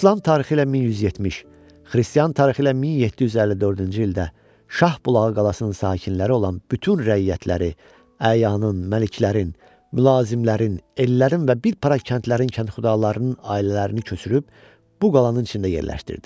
İslam tarixi ilə 1170, Xristian tarixi ilə 1754-cü ildə Şah Bulağı qalasının sakinləri olan bütün rəiyyətləri, əyanın, məliklərin, mülazimlərin, ellərin və bir para kəndlərin kəndxudalarının ailələrini köçürüb bu qalanın içində yerləşdirdi.